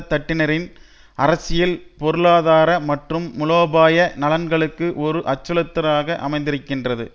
தட்டினரின் அரசியல் பொருளாதார மற்றும் மூலோபாய நலன்களுக்கு ஒரு அச்சுறுத்தலாக அமைந்திருக்கின்றது